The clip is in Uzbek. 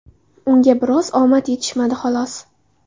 Unga biroz omad yetishmadi , xolos.